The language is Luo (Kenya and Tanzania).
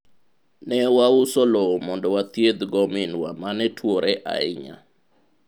ne wauso lowo mondo wathiedh go minwa mane tuwore ahinya